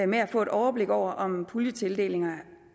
med at få overblik over om puljetildelingerne